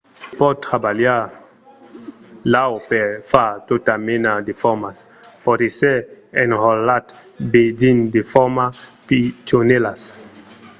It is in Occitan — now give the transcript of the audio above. se pòt trabalhar l'aur per far tota mena de formas. pòt èsser enrotlat be dins de formas pichonèlas